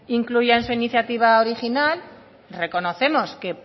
incluía en su iniciativa original reconocemos que